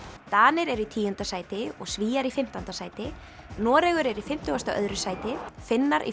Danir eru í tíunda sæti og Svíar í fimmtánda sæti Noregur er í fimmtugasta og öðru sæti Finnar í